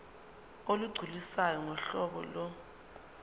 olugculisayo ngohlobo lo